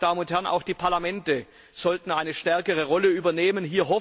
Meine Damen und Herren, auch die Parlamente sollten eine stärkere Rolle übernehmen.